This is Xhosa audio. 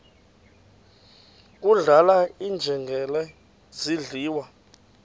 kudlala iinjengele zidliwa